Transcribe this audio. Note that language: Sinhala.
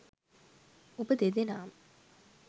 ඔබ දෙදෙනාම